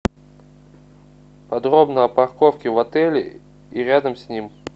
подробно о парковке в отеле и рядом с ним